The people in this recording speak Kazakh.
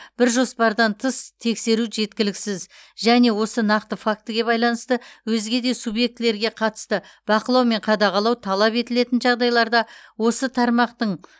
бір жоспардан тыс тексеру жеткіліксіз және осы нақты фактіге байланысты өзге де субъектілерге қатысты бақылау мен қадағалау талап етілетін жағдайларда осы тармақтың